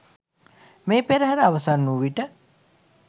මේ පෙරහර අවසන් වූ විට